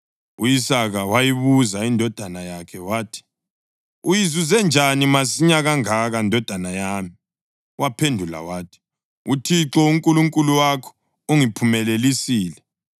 U-Isaka wayibuza indodana yakhe wathi, “Uyizuze njani masinyane kangaka, ndodana yami?” Waphendula wathi, “ uThixo uNkulunkulu wakho ungiphumelelisile.”